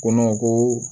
Ko ko